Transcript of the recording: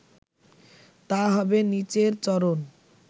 তা হবে নিচের চরণ